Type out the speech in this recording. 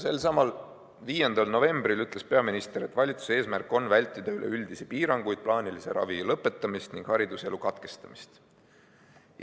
Selsamal 5. novembril ütles peaminister, et valitsuse eesmärk on vältida üleüldisi piiranguid, plaanilise ravi lõpetamist ning hariduselu katkestamist.